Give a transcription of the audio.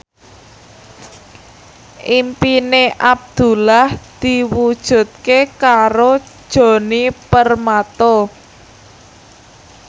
impine Abdullah diwujudke karo Djoni Permato